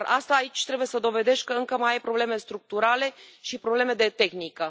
Aici trebuie să dovedești că încă mai ai probleme structurale și probleme de tehnică.